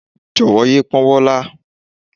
Jọ̀wọ́ yé pọ́wọ́ lá